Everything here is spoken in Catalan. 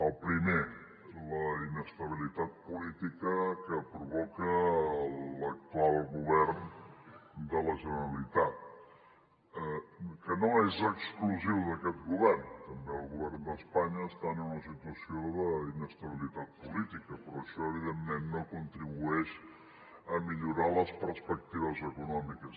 el primer és la inestabilitat política que provoca l’actual govern de la generalitat que no és exclusiva d’aquest govern també el govern d’espanya està en una situació d’inestabilitat política però això evidentment no contribueix a millorar les perspectives econòmiques